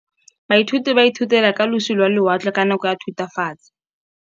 Baithuti ba ithutile ka losi lwa lewatle ka nako ya Thutafatshe.